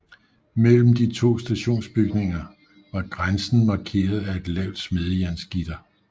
Mellem de to stationsbygninger var grænsen markeret af et lavt smedejernsgitter